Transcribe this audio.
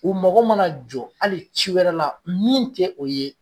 U mago mana jɔ hali ci wɛrɛ la min tɛ o ye